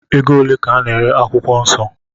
Ego ole ka a na-ere akwụkwọ nsọ?